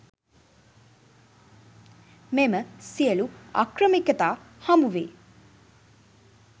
මෙම සියලු අක්‍රමිකතා හමුවේ